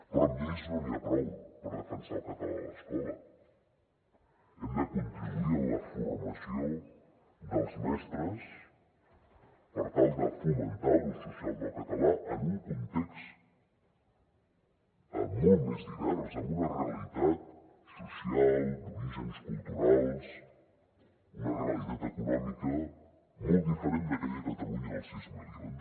però amb lleis no n’hi ha prou per defensar el català a l’escola hem de contribuir en la formació dels mestres per tal de fomentar l’ús social del català en un context molt més divers amb una realitat social d’orígens culturals una realitat econòmica molt diferent d’aquella catalunya del sis milions